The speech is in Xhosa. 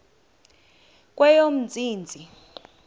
kweyomntsintsi